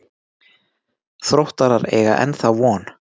Þróttarar eiga ennþá von.